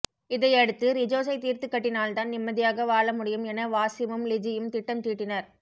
இதையடுத்து ரிஜோசை தீர்த்துக் கட்டினால்தான் நிம்மதியாக வாழ முடியும் என வாசிமும் லிஜியும் திட்டம் தீட்டினர்